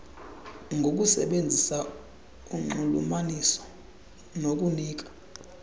ngokusebenzisa unxulumaniso lokunika